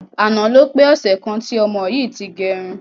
Àná ló pé ọsẹ̀ kan tí ọmọ yìí ti gẹrun.